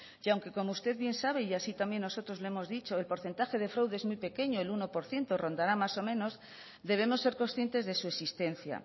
y aunque como usted bien sabe y así también nosotros le hemos dicho el porcentaje de fraude es muy pequeña el uno por ciento rondará más o menos debemos ser conscientes de su existencia